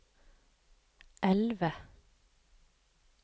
elve